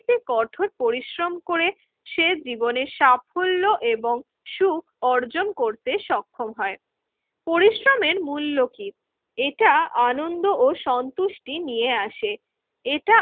ক্তি কঠোর পরিশ্রম করে সে জীবনের সাফল্য এবং সুখ অর্জন করতে সক্ষম হয়। পরিশ্রমের মূল্য কি? এটা আনন্দ ও সন্তুষ্টি নিয়ে আসে, এটা